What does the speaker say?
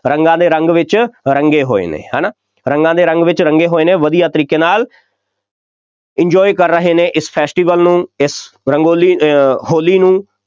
ਰੰਗਾਂ ਦੇ ਰੰਗ ਵਿੱਚ ਰੰਗੇ ਹੋਏ ਨੇ, ਹੈ ਨਾ, ਰੰਗਾਂ ਦੇ ਰੰਗ ਵਿੱਚ ਰੰਗੇ ਹੋਏ ਨੇ, ਵਧੀਆ ਤਰੀਕੇ ਨਾਲ enjoy ਕਰ ਰਹੇ ਨੇ ਇਸ festival ਨੂੰ ਇਸ ਰੰਗੋਲੀ ਅਹ ਹੋਲੀ ਨੂੰ,